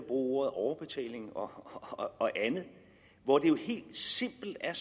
ordet overbetaling og andet hvor det jo helt simpelt er